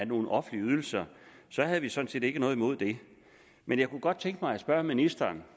nogle offentlige ydelser havde vi sådan set ikke noget imod det men jeg kunne godt tænke mig at spørge ministeren